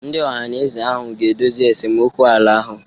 Ndị Ohanaeze ahụ ga-edozi esemokwu ala ahụ.